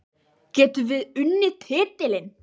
Getum við unnið titilinn?